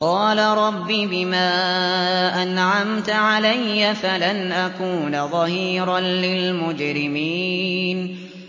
قَالَ رَبِّ بِمَا أَنْعَمْتَ عَلَيَّ فَلَنْ أَكُونَ ظَهِيرًا لِّلْمُجْرِمِينَ